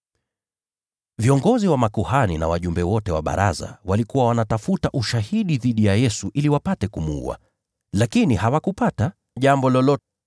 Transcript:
Viongozi wa makuhani na Baraza la Wayahudi lote wakatafuta ushahidi dhidi ya Yesu ili wapate kumuua. Lakini hawakupata jambo lolote.